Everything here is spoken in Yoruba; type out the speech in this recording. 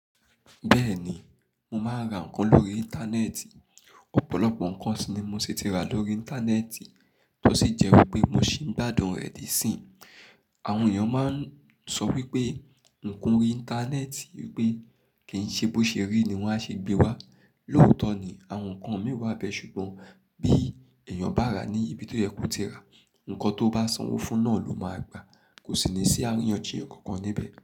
Bẹ́ẹ̀ni, mo máa ń ra ǹkan lórí Íńtánẹ́ẹ̀tì. Ọ̀pọ̀lọpọ̀ ǹkan ni mo ti rà lórí Íńtánẹ́ẹ̀tì tó sì jẹ́ pé mo sì ń gbàdun rẹ̀ẹ́ di si i. Àwọn èèyàn máa ń sọ wípé ǹkan rí Íńtánẹ́ẹ̀tì wípé kì ń ṣe bó ṣe rí ni wọ́n á ṣe gbé wá. Lóòótọ́ ni, àwọn ǹkan mìíràn bẹ́ẹ̀ ṣùgbọ́n bí èèyàn bá rà ní ibi tó yẹ kó ti rà, ǹkan tó bá sanwó fún náà ló máa gba, kò sì ní sí àríyànjiyàn ǹkan kan níbẹ̀.